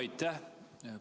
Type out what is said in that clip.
Aitäh!